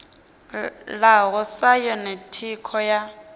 ḽaho sa yone thikho ya